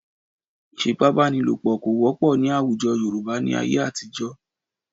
Ì̀fipábánilòpọ̀ kò wọ́pọ̀ ní àwùjọ Yorùbá ní ayé àtijọ́